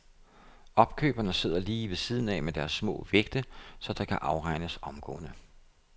Opkøberne sidder lige ved siden af med deres små vægte, så der kan afregnes omgående.